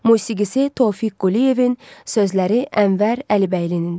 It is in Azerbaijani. Musiqisi Tofiq Quliyevin, sözləri Ənvər Əlibəylinindir.